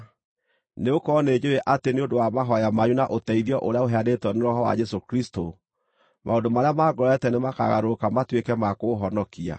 nĩgũkorwo nĩnjũũĩ atĩ nĩ ũndũ wa mahooya manyu na ũteithio ũrĩa ũheanĩtwo nĩ Roho wa Jesũ Kristũ, maũndũ marĩa mangorete nĩmakagarũrũka matuĩke ma kũhonokia.